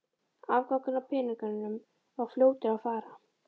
Afgangurinn af peningunum var fljótur að fara.